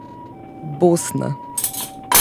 Bosna.